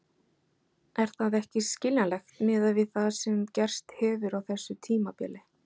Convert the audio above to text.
Er það ekki skiljanlegt miðað við það sem gerst hefur á þessu tímabili?